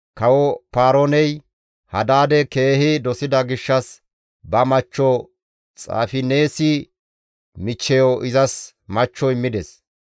Kawo Paarooney Hadaade keehi dosida gishshas ba machcho Xaafineesi michcheyo izas machcho immides.